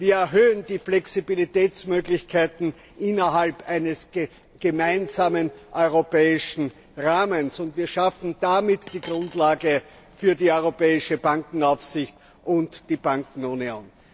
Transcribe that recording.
Wir erhöhen die Flexibilitätsmöglichkeiten innerhalb eines gemeinsamen europäischen Rahmens. Und wir schaffen damit die Grundlage für die europäische Bankenaufsicht und die Bankenunion.